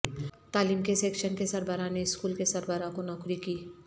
تعلیم کے سیکشن کے سربراہ نے اسکول کے سربراہ کو نوکری کی